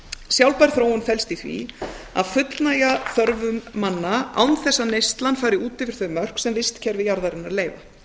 sjálfbær þróun felst í því að fullnægja þörfum manna án þess að neyslan fari út yfir þau mörk sem vistkerfi jarðarinnar leyfa meginreglan